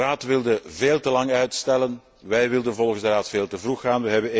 De Raad wilde veel te lang uitstellen. Wij wilden volgens de Raad veel te vroeg gaan.